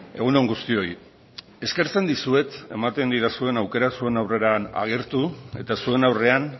egun on guztioi eskertzen dizuet ematen didazuen aukera zuen aurrean agertu eta zuen aurrean